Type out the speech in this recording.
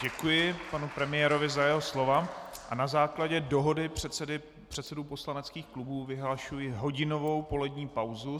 Děkuji panu premiérovi za jeho slova a na základě dohody předsedů poslaneckých klubů vyhlašuji hodinovou polední pauzu.